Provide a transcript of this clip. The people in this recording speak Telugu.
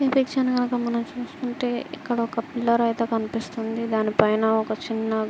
ఇక్కడ పిక్చర్ కనుక మనము చూసుకుంటే ఇక్కడ ఒక పిల్లర్ అయితే కనిపిస్తున్నది. దాని పైన ఒక చిన్న--